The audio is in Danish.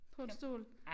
På en stol